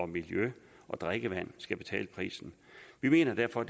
miljø og drikkevand skal betale prisen vi mener derfor